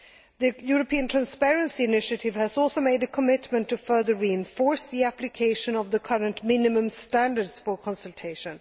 The European Transparency Initiative has also made a commitment to further reinforce the application of the current minimum standards for consultation.